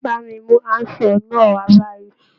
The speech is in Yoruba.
Bá mi mú handsaw náà wá báyìí.